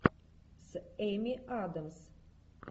с эми адамс